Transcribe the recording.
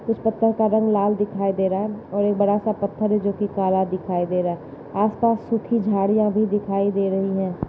इस पत्थर का रंग लाल दिखाई दे रहा है और ये बड़ा सा पत्थर है जो कि काला दिखाई दे रहा। आसपास सूखी झाड़ियां भी दिखाई दे रही है।